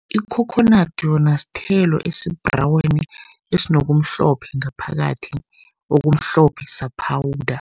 Ikhokhonadi yona sithelo esibhraweni, esinokumhlophe ngaphakathi. Okumhlophe sa-powder.